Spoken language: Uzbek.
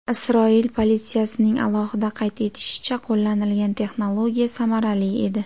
Isroil politsiyasining alohida qayd etishicha , qo‘llanilgan texnologiya samarali edi.